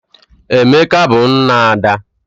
Emeka bu nna Ada.